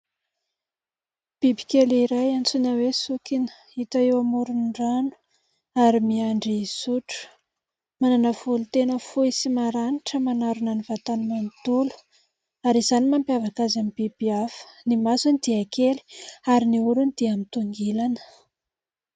Biby kely iray antsoina hoe "sokina" hita eo amoron'ny rano ary miandry hisotro. Manana volo tena fohy sy maranitra manarona ny vatany manontolo ary izany mampiavaka azy amin'ny biby hafa . Ny masony dia kely ary ny oriny dia mitongilana.